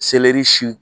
si